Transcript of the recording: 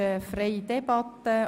Wir führen eine freie Debatte.